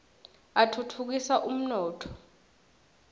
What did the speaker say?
atfutfukisa umnotfo